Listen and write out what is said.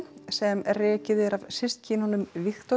sem rekið er af systkinunum